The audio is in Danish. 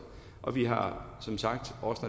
og vi har som sagt når